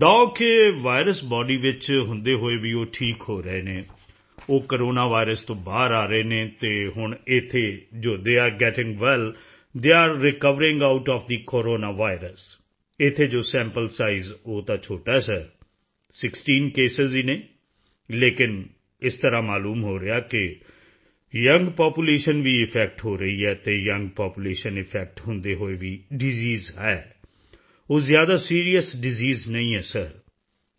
ਥੌਗ ਕੇ virus body ਵਿੱਚ ਹੁੰਦੇ ਹੋਏ ਵੀ ਉਹ ਠੀਕ ਹੋ ਰਹੇ ਨੇ ਉਹ ਕੋਰੋਨਾ ਵਾਇਰਸ ਤੋਂ ਬਾਹਰ ਆ ਰਹੇ ਨੇ ਅਤੇ ਹੁਣ ਇੱਥੇ ਜੋ they are getting well they are recovering out of the corona virus ਇੱਥੇ ਜੋ ਸੈਂਪਲ ਸਾਈਜ਼ ਉਹ ਤਾਂ ਛੋਟਾ ਹੈ ਸਰ 16 ਕੇਸਾਂ ਹੀ ਹਨ ਲੇਕਿਨ ਅਜਿਹਾ ਮਾਲੂਮ ਹੋ ਰਿਹਾ ਹੈ ਕਿ ਯੂੰਗ ਪਾਪੂਲੇਸ਼ਨ ਵੀ ਅਫੈਕਟ ਹੋ ਰਹੀ ਹੈ ਅਤੇ ਯੂੰਗ ਪਾਪੂਲੇਸ਼ਨ ਅਫੈਕਟ ਹੁੰਦੇ ਹੋਏ ਵੀ ਡਿਸੀਜ਼ ਹੈ ਉਹ ਜ਼ਿਆਦਾ ਸੀਰੀਅਸ ਡਿਸੀਜ਼ ਨਹੀਂ ਹੈ ਸਰ